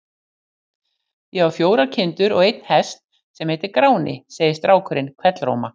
Ég á fjórar kindur og einn hest sem heitir Gráni, segir strákurinn hvellróma.